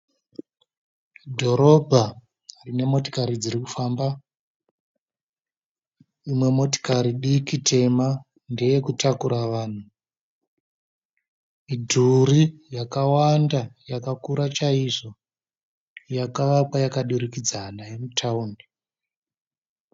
Dhorobha rine motokari dzirikufamba, imwe motokari diki tema ndeyekutakura vanhu. Midhuri yakawanda yakakura chaizvo yakavakwa yakadurikidzana yemutawuni.